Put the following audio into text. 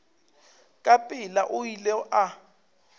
ka pela o ile a